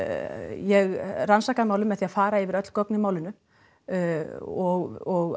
ég rannsakaði málið með því að fara yfir öll gögn í málinu og